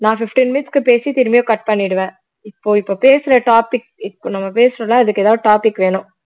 நான் fifteen minutes க்கு பேசி திரும்பியும் cut பண்ணிடுவேன் இப்போ இப்போ பேசுற topic இப்போ நம்ம பேசுறோம்ல அதுக்கு ஏதாவது topic வேணும்